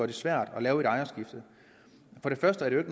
det svært at lave et ejerskifte for det første er det